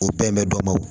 O bɛn bɛ dɔ bɔ